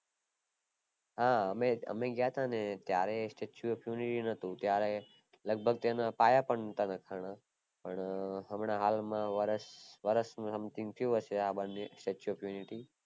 હા અમે ગયા હતા ને ત્યારે એ statue of unity નોતું ત્યારે લગભગ તેના પાયા પણ નોટા નાખના પણ હાલમાં વરસ something થયું હયસે આ બન્યું statueofunity